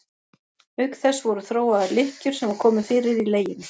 Auk þess voru þróaðar lykkjur sem var komið fyrir í leginu.